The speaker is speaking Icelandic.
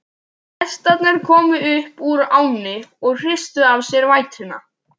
Hestarnir komu upp úr ánni og hristu af sér vætuna.